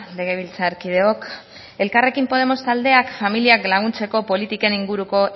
legebiltzarkideok elkarrekin podemos taldeak familiak laguntzeko politiken inguruko